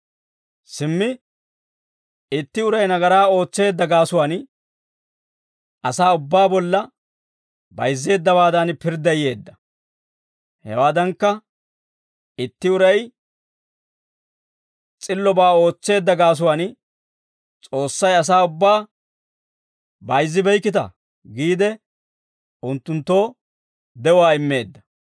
Simmi itti uray nagaraa ootseedda gaasuwaan asaa ubbaa bolla bayizzeeddawaadan pirdday yeedda. Hewaadankka itti uray s'illobaa ootseedda gaasuwaan, S'oossay asaa ubbaa, «Bayzzibeykkita» giide unttunttoo de'uwaa immeedda.